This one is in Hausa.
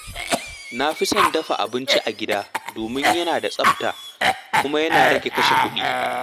Na fi son dafa abinci a gida domin yana da tsafta kuma yana rage kashe kuɗi.